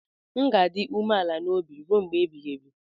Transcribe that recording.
M ga-adị umeala n'obi ruo mgbe ebighị ebi.